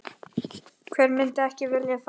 Hver myndi ekki vilja það?